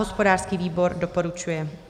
Hospodářský výbor doporučuje.